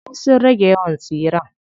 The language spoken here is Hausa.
Ay sun rage yawan tsiren.